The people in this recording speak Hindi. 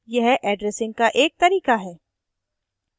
यह addressing का एक तरीका है